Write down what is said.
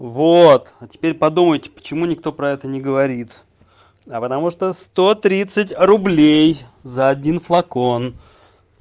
вот а теперь подумайте почему никто про это не говорит а потому что сто тридцать рублей за один флакон